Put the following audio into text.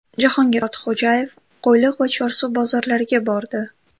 Jahongir Ortiqxo‘jayev Qo‘yliq va Chorsu bozorlariga bordi .